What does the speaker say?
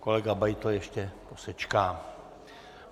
Kolega Beitl ještě posečká.